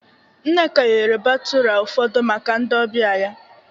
Nneka eghere batụra ụfọdụ maka ndị ọbịa ya